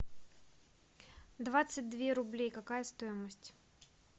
двадцать две рублей какая стоимость